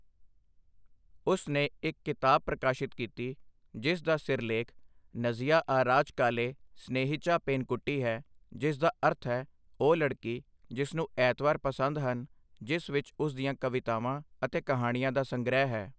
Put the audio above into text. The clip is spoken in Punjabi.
ਉਸ ਨੇ ਇੱਕ ਕਿਤਾਬ ਪ੍ਰਕਾਸ਼ਿਤ ਕੀਤੀ ਜਿਸ ਦਾ ਸਿਰਲੇਖ ਨਜਿਆਆਰਾਝਕਾਲੇ ਸਨੇਹੀਚਾ ਪੇਨਕੁੱਟੀ ਹੈ, ਜਿਸਦਾ ਅਰਥ ਹੈ ਉਹ ਲੜਕੀ ਜਿਸਨੂੰ ਐਤਵਾਰ ਪਸੰਦ ਹਨ ਜਿਸ ਵਿੱਚ ਉਸ ਦੀਆਂ ਕਵਿਤਾਵਾਂ ਅਤੇ ਕਹਾਣੀਆਂ ਦਾ ਸੰਗ੍ਰਹਿ ਹੈ।